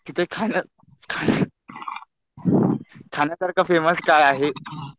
तिथे खाण्यासारखं फेमस काय आहे?